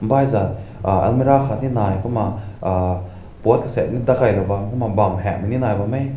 baizat uh almira aakat ne nai bam pot seng dakai na ne heng na bam weh.